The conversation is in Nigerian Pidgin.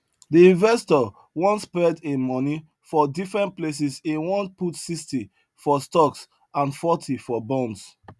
the investor want spread him money for different places e want put 60 for stocks and forty for bonds